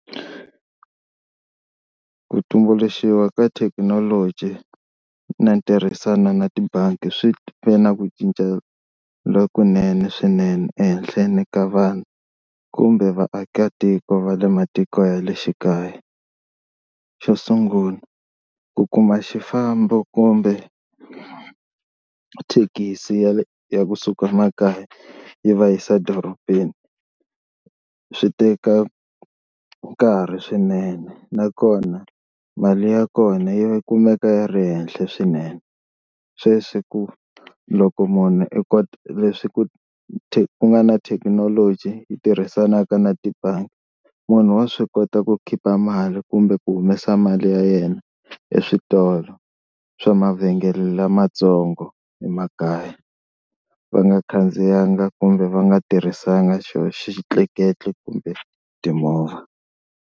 Ku tumbuluxiwa ka thekinoloji na ntirhisano na tibangi swi ve na ku cinca lokunene swinene ehenhleni ka vanhu kumbe vaakatiko va le matiko ya le xikaya, xo sungula ku kuma xifambo kumbe thekisi ya ya kusuka makaya yi va yisa dorobeni swi teka nkarhi swinene nakona mali ya kona yi kumeka yi ri henhla swinene, sweswi ku loko munhu i kota leswi ku nga na thekinoloji yi tirhisanaka na tibangi munhu wa swi kota ku khipa mali kumbe ku humesa mali ya yena eswitolo swa mavhengele lamatsongo emakaya va nga khandziyanga kumbe va nga tirhisanga xoho xitleketli kumbe timovha.